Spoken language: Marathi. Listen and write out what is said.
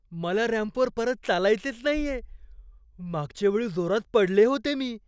मला रॅम्पवर परत चालायचेच नाहीये. मागच्या वेळी जोरात पडले होते मी.